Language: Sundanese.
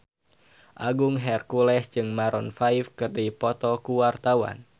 Agung Hercules jeung Maroon 5 keur dipoto ku wartawan